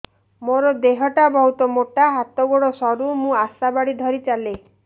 ମୋର ଦେହ ଟା ବହୁତ ମୋଟା ହାତ ଗୋଡ଼ ସରୁ ମୁ ଆଶା ବାଡ଼ି ଧରି ଚାଲେ